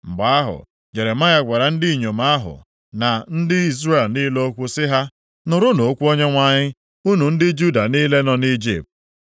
Mgbe ahụ, Jeremaya gwara ndị inyom ahụ, na ndị Izrel niile okwu sị ha, “Nụrụnụ okwu Onyenwe anyị unu ndị Juda niile nọ nʼIjipt.